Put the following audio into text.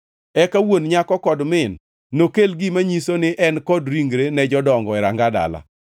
Eka wuon nyako kod min nokel gima nyiso ni en kod ringre ne jodongo e ranga dala.